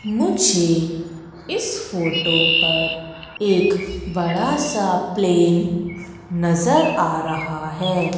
मुझे इस फोटो पर एक बड़ा सा प्लेन नजर आ रहा हैं।